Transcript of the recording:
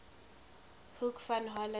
hoek van holland